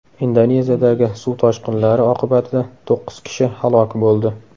Indoneziyadagi suv toshqinlari oqibatida to‘qqiz kishi halok bo‘ldi.